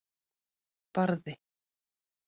Barði